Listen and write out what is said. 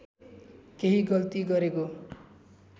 केही गल्ती गरेको